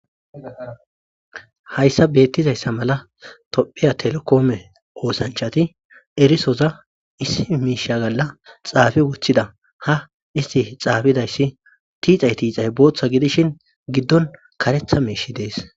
hayssa beettizayssa mala tophiya telekoome oosanchati erisoza issii miisha galla xaafi woththida ha isti xaafidayssi tiixay tiixay booththa gidishin giddon karetha miishi dees